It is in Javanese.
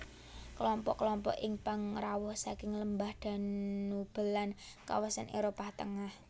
Kelompok kelompok ing pangrawuh saking lembah Danube lan kawasan Éropah Tengah